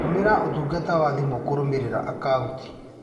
Tũmĩra ũtungata wa thimũ kũrũmĩrĩra akauti.